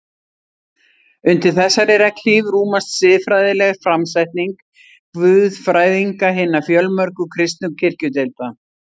Undir þessari regnhlíf rúmast siðfræðileg framsetning guðfræðinga hinna fjölmörgu kristnu kirkjudeilda.